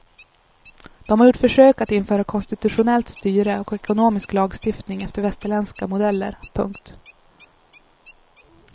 De har gjort försök att införa konstitutionellt styre och ekonomisk lagstiftning efter västerländska modeller. punkt